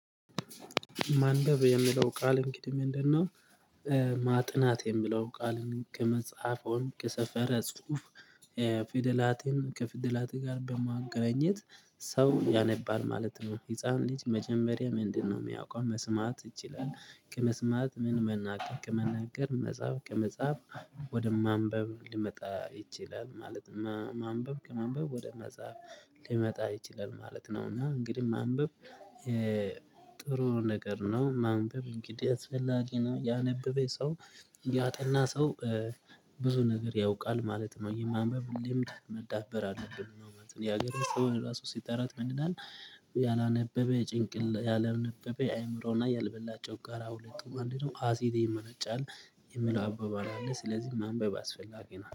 ማንበብ የሚለው ቃል እንግዲህ ምንድን ነው? ማጥናት የምለው ቃል ከመጽሐፍ ወይም ከሰፈረ ጽሁፍ። ፊደላትን ከፊደላት ጋር በማገናኝት ሰው ያነባል ማለት ነው። ህፃን ልጅ መጀመሪያ ምንድነው የሚያውቀው? መስማት ይችላል ከመስማት ምን መናገር ከመናገር መጻፍ ከመጻፍ ወደ ማንበብ ሊመጣ ይችላል። ማለት ማንበብ ከማንበብ ወደ መጻፍ ሊመጣ ይችላል ማለት ነው። እና እንግዲህ ማንበብ ጥሩ ነገር ነው። ማንበብ እንግዲህ አስፈላጊ ነው። ያነበበው ሰው ያጠና ሰው ብዙ ነገር ያውቃል ማለት ነው። የማንበብ ልምድ ማዳበር አለብን ነው ማለት ነው። የሀገር ሰው ራሱ ሲጠራት ምን ይላል? ያላነበበ የአእምሮ እና ያልበላ ጮጋራ ሁለቱም አንድ ነው አሲድ ይመነጫል። የምለው አበባል አለ ስለዚህ ማንበብ አስፈላጊ ነው